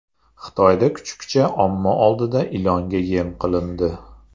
Xitoyda kuchukcha omma oldida ilonga yem qilindi.